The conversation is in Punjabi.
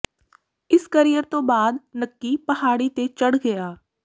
ਇਸ ਕਰੀਅਰ ਤੋਂ ਬਾਅਦ ਨੱਕੀ ਪਹਾੜੀ ਤੇ ਚੜ੍ਹ ਗਿਆ